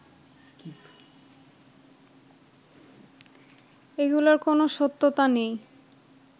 এগুলোর কোনো সত্যতা নেই